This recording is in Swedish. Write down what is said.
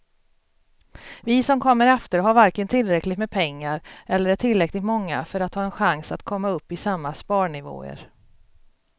Vi som kommer efter har varken tillräckligt med pengar eller är tillräckligt många för att ha en chans att komma upp i samma sparnivåer.